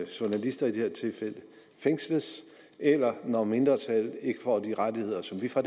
journalister fængsles eller når mindretal ikke får de rettigheder som vi fra